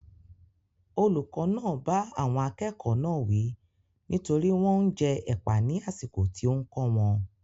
Olùkọ́ náà bá àwọn akẹ́kọ̀ọ́ náà wí nítorí wọ́n ń jẹ ẹ̀pà ní àsìkò tí ó ń kó wọn.